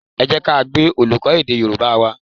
Ẹ jẹ́ ká gbe olùkọ́ èdè Yorùbá wa